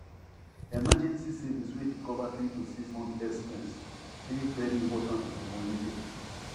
emergency savings wey fit cover 3 to 6 months expense dey very important for money safety